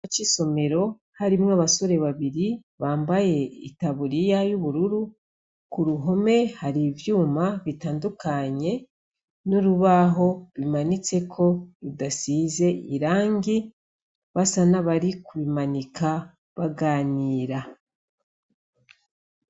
Ikibanza c'isomero harimwo abasore babiri bambaye itaburiya y'ubururu. Ku ruhome hari ivyuma bitandukanye n'urubaho rumanitseko rudasize irangi, basa n'abari kurumanika baganira.